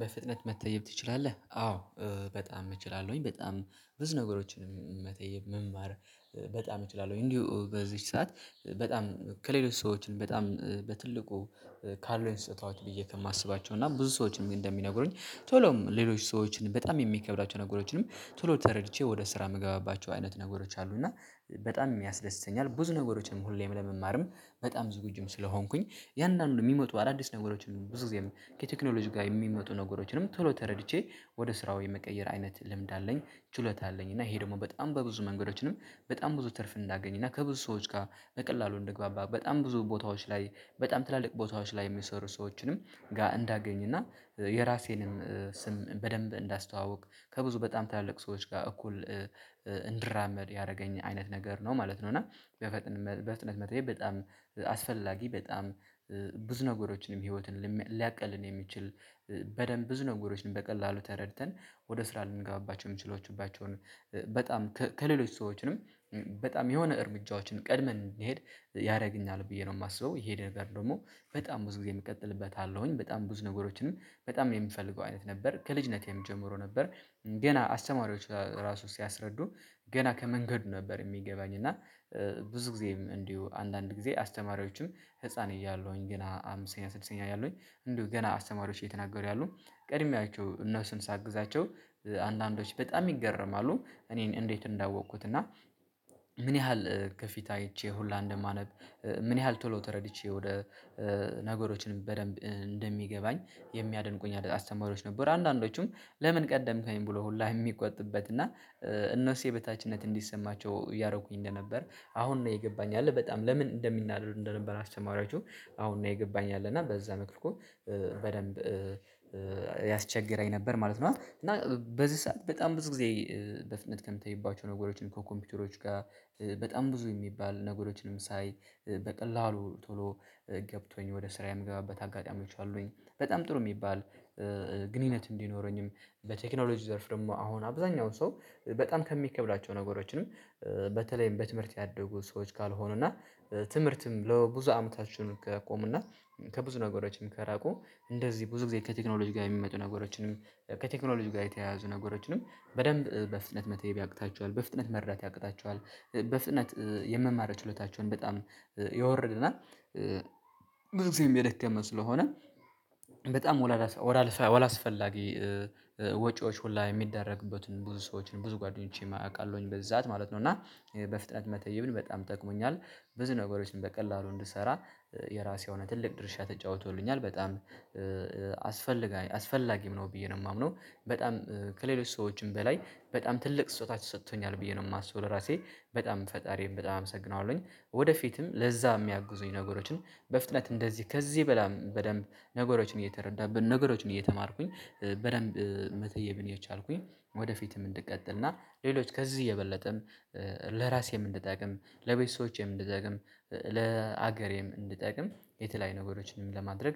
በፍጥነት መተየብ ትችላለህ? አዎ በጣም እችላለሁኝ። በጣም ብዙ ነገሮችን መተየብ መማር በጣም እችላለሁ። እንዲሁ በዚህች ሰዓት በጣም ከሌሎች ሰዎችን በጣም በትልቁ ካሉኝ ስጦታዎች ብዬ ከማስባቸው እና ብዙ ሰዎችንም እንደሚነግሩኝ ቶሎም ሌሎች ሰዎችን በጣም የሚከብዳቸው ነገሮችንም ቶሎ ተረድቼ ወደ ስራ የምገባባቸው አይነት ነገሮች አሉ። እና በጣም የሚያስደስተኛል ብዙ ነገሮችንም ሁሌም ለመማርም በጣም ዝግጁም ስለሆንኩኝ ያንን ነው። የሚመጡ አዳዲስ ነገሮችን ብዙ ጊዜ ከቴክኖሎጂ ጋር የሚመጡ ነገሮችንም ቶሎ ተረድቼ ወደ ስራው የመቀየር አይነት ልምድ አለኝ። ችሎታ አለኝ እና ይሄ ደግሞ በጣም በብዙ መንገዶችንም በጣም ብዙ ትርፍ እንዳገኝ እና ከብዙ ሰዎች ጋር በቀላሉ እንደግባባ በጣም ብዙ ቦታዎች ላይ በጣም ትላልቅ ቦታዎች ላይ የሚሰሩ ሰዎችንም ጋር እንዳገኝ እና የራሴንም ስም በደንብ እንዳስተዋወቅ ከብዙ በጣም ታለቅ ሰዎች ጋር እኩል እንድራመድ ያደረገኝ አይነት ነገር ነው ማለት ነው። እና በፍጥነት በፍጥነት መጠየቅ በጣም አስፈላጊ በጣም ብዙ ነገሮችንም ህይወትን ሊያቅልን የሚችል በደንብ ብዙ ነገሮችን በቀላሉ ተረድተን ወደ ስራ ልንገባቸው የምችሏቸውን በጣም ከሌሎች ሰዎችንም በጣም የሆነ እርምጃዎችን ቀድመን እንሄድ። ያደርግኛል ብዬ ነው የማስበው ይሄ ነገር ደግሞ በጣም ብዙ ጊዜ የሚቀጥልበት አለውኝ በጣም ብዙ ነገሮችንም በጣም የሚፈልገው አይነት ነበር ከልጅነቴም ጀምሮ ነበር። ገና አስተማሪዎች ራሱ ሲያስረዱ ገና ከመንገድ ነበር የሚገባኝ እና ብዙ ጊዜም እንዲሁ አንዳንድ ጊዜ አስተማሪዎችም ህፃን እያለሁኝ ገና አምስተኛ ስድስተኛ እያለሁኝ እንዲሁ ገና አስተማሪዎች እየተናገሩ ያሉ ቀድሚያቸው እነሱን ሳግዛቸው አንዳንዶች በጣም ይገረማሉ እኔን እንዴት እንዳወቅኩት እና? ምን ያህል ከፊት አይቼ ሁላ እንደማነብ? ምን ያህል ቶሎ ተረድቼ ወደ ነገሮችን በደንብ እንደሚገባኝ። የሚያደንቁኝ አለት አስተማሪዎች ነበሩ አንዳንዶቹም ለምን ቀደምከኝ ብሎ ሁላ የሚቆጥብበት እና እነሱ የበታችነት እንዲሰማቸው እያረኩኝ እንደነበር አሁን ነው የገባኝ ያለ በጣም ለምን እንደሚናደዱ እንደነበር አስተማሪያችሁ አሁን ነው ይገባኛል። እና በዛ መልኩ እኮ በደንብ ያስቸግረኝ ነበር ማለት ነው። እና በዚህ ሰዓት በጣም ብዙ ጊዜ በፍጥነት ከምትታይባቸው ነገሮችን እኮ ከኮምፒውተሮች ጋር በጣም ብዙ የሚባል ነገሮችንም ሳይ በቀላሉ ቶሎ ገብቶኝ ወደ ስራ የምገባበት አጋጣሚዎች አሉኝ። በጣም ጥሩ የሚባል ግንኙነት እንዲኖረኝም በቴክኖሎጂ ዘርፍ ደግሞ አሁን አብዛኛውን ሰው በጣም ከሚከብዳቸው ነገሮችንም በተለይም በትምህርት ያደጉ ሰዎች ካልሆኑ እና ትምህርትም ለብዙ አመታችን ካቆሙና ከብዙ ነገሮችም ከራቁ እንደዚህ ብዙ ጊዜ ከቴክኖሎጂ ጋር የሚመጡ ነገሮችንም ከቴክኖሎጂ ጋር የተያያዙ ነገሮችንም በደንብ በፍጥነት መተየብ ያቅታቸዋል በፍጥነት መረዳት ያቅታቸዋል። በፍጥነት የምማረው ችሎታቸውን በጣም የወረደና ብዙ ሰው የደከመ ስለሆነ በጣም ወላላ ወላስፈላጊ ወጪዎች ሁላ የሚደረግበትን ብዙ ሰዎችን ብዙ ጓደኞቼም አውቃለሁኝ በዚህሳት ማለት ነው። እና በፍጥነት መተየብን በጣም ጠቅሞኛል። ብዙ ነገሮችን በቀላሉ እንድሰራ የራሴ የሆነ ትልቅ ድርሻ ተጫውቶልኛል በጣም አስፈ አስፈላጊም ነው ብዬ ነው የማምነው። በጣም ከሌሎች ሰዎችም በላይ በጣም ትልቅ ስጦታ ሰጥቶኛል ብዬ ነው የማስበው ለራሴ በጣም ፈጣሪም በጣም አመሰግናለሁኝ ወደፊትም ለዛ የሚያግዙኝ ነገሮችን በፍጥነት እንደዚህ ከዚህ በላም በደንብ ነገሮችን እየተረዳብን ነገሮችን እየተማርኩኝ በደንብ መተየብን የቻልኩኝ ወደፊትም እንድቀጥልና ሌሎች ከዚህ የበለጠም ለራሴም እንድጠቅም ለቤቶቼም እንድጠቅም ለሀገሬም እንድጠቅም የተለያዩ ነገሮችንም ለማድረግ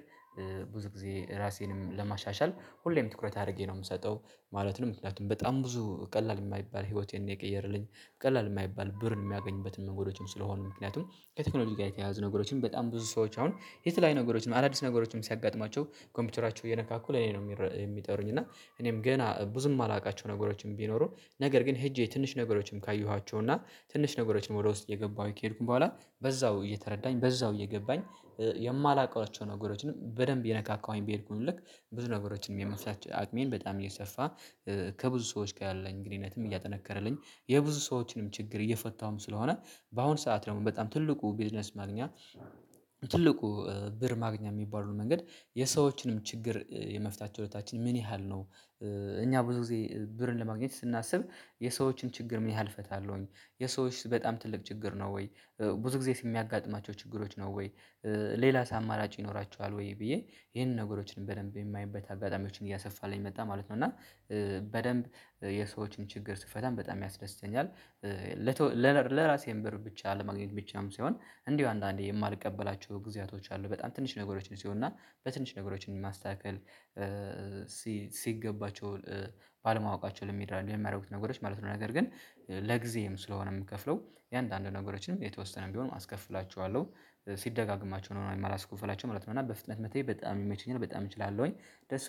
ብዙ ጊዜ ራሴንም ለማሻሻል ሁሌም ትኩረት አድርጌ ነው የምሰጠው ማለት ነው። ምክንያቱም በጣም ብዙ ቀላል የማይባል ህይወቴን የቀየረልኝ ቀላል የማይባል ብርን የሚያገኙበትን ነገሮችን ስለሆኑ ምክንያቱም ከቴክኖሎጂ ጋር የተያያዙ ነገሮችን በጣም ብዙ ሰዎች አሁን የት ላይ ነገሮችን አዳዲስ ነገሮችን ሲያጋጥማቸው ኮምፒውተራቸው እየነካኩ ለኔ ነው የሚጠሩኝ እና እኔም ገና ብዙም የማላውቃቸው ነገሮችን ቢኖሩ። ነገር ግን ሄጄ ትንሽ ነገሮችንም ካየኋቸው እና ትንሽ ነገሮችንም ወደ ውስጥ እየገባሁኝ ከሄድኩኝ በኋላ በዛው እየተረዳኝ በዛው እየገባኝ የማላውቃቸውን ነገሮችንም በደንብ የነካካውኝ በሄድኩኝ ልክ ብዙ ነገሮችንም የመስራት አቅሜም በጣም እየሰፋ ከብዙ ሰዎች ያለኝ ግንኙነትም እያጠነከረልኝ የብዙ ሰዎችንም ችግር እየፈታሁም ስለሆነ በአሁን ሰዓት ደግሞ በጣም ትልቁ ቢዝነስ ማግኛ ትልቁ ብር ማግኛ የሚባለው መንገድ የሰዎችንም ችግር የመፍታት ችሎታችንም ምን ያህል ነው? እኛ ብዙ ጊዜ ብርን ለማግኘት ስናስብ የሰዎችን ችግር ምን ያህል እፈታለሁኝ? የሰዎች በጣም ትልቅ ችግር ነው ወይ? ብዙ ጊዜ የሚያጋጥማቸው ችግሮች ነው ወይ? ሌላስ አማራጭ ይኖራቸዋል ወይ ብዬ ይሄንን ነገሮችን በደንብ የማየበት አጋጣሚዎችን እያሰፋልኝ መጣ ማለት ነው። እና በደንብ የሰዎችን ችግር ስፈታንም በጣም ያስደስተኛል። ለራሴም ብር ብቻ ለማግኘት ብቻም ሳይሆን እንዲሁ አንዳንዴ የማልቀበላቸው ጊዜያቶች አሉ በጣም ትንሽ ነገሮችን ሲሆንና በትንሽ ነገሮችን ማስተካከል ሲገባቸው ባለማወቃቸው ለሚራ የሚያደርጉት ነገሮች ማለት ነው። ነገር ግን ለጊዜም ስለሆነ የምከፍለው የአንዳንድ ነገሮችንም የተወሰነም ቢሆን አስከፍላችኋለሁ ሲደጋገማቸው ነው የማላስከፍላቸው ማለት ነው። እና በፍጥነት መተይ በጣም የሚመችኝ በጣም እችላለሁኝ።